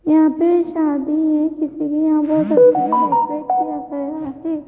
यहां पे शादी है किसी की यहां बहोत अच्छे से डेकोरेट किया गया है।